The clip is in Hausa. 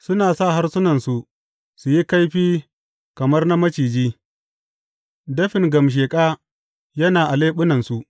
Suna sa harsunansu su yi kaifi kamar na maciji; dafin gamsheƙa yana a leɓunansu.